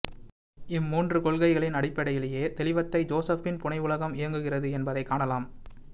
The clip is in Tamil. இம்மூன்று கொள்கைகளின் அடிப்படையிலேயே தெளிவத்தை ஜோசப்பின் புனைவுலகம் இயங்குகிறது என்பதைக் காணலாம்